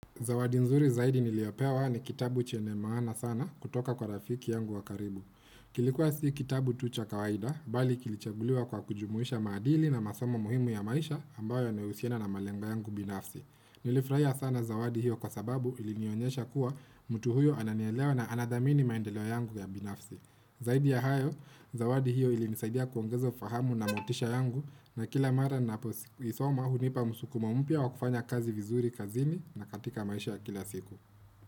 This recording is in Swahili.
Zawadi nzuri zaidi niliopewa ni kitabu chenye maana sana kutoka kwa rafiki yangu wakaribu. Kilikuwa si kitabu tucha kawaida, bali kilichaguliwa kwa kujumuisha maadili na masomo muhimu ya maisha ambayo yanahusiana na malengo yangu binafsi. Nilifraia sana zawadi hiyo kwa sababu ilinionyesha kuwa mtu huyo ananielewa na anadhamini maendeleo yangu ya binafsi. Zaidi ya hayo, zawadi hiyo ilinisaidia kuongeza ufahamu na motisha yangu na kila mara napo isoma hunipa musukumo mpya wa kufanya kazi vizuri kazini na katika maisha kila siku.